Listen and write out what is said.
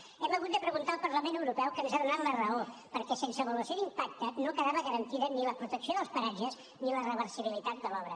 ho hem hagut de preguntar al parlament europeu que ens ha donat la raó perquè sense avaluació d’impacte no quedaven garantides ni la protecció dels paratges ni la reversibilitat de l’obra